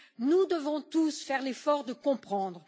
Nous devons tous faire l'effort de comprendre.